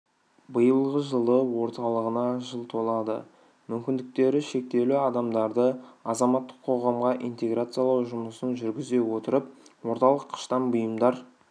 биылғы жылы орталығына жыл толады мүмкіндіктерішектеулі адамдарды азаматтық қоғамға интеграциялау жұмысын жүргізе отырып орталық қыштан бұйымдар